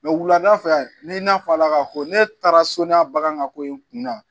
wulada fɛ n'i n'a fɔ ala ka fɔ ne taara sɔni a bagan ka ko in kunda